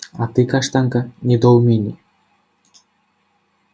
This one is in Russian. а ты каштанка недоумение